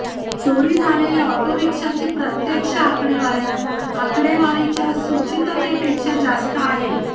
चोरी झालेल्या ऑटो रिक्षाची प्रत्यक्ष आकडेवारी आकडेवारीच्या सूचिततेपेक्षा जास्त आहे